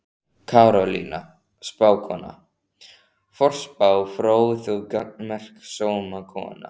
Karolína spákona, forspá fróð og gagnmerk sómakona.